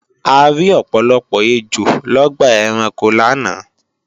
A rí ọ̀pọ̀lọpọ̀ ejò lọ́gbà ẹranko láàná